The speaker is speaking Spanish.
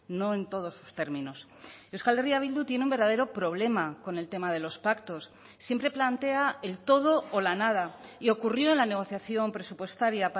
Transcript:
no en todos sus términos euskal herria bildu tiene un verdadero problema con el tema de los pactos siempre plantea el todo o la nada y ocurrió en la negociación presupuestaria